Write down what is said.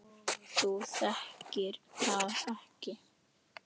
Þú þekkir það ekki!